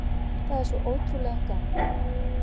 Það er svo ótrúlega gaman